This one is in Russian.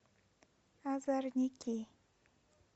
озорники